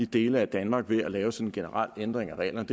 dele af danmark ved at lave sådan en generel ændring af reglerne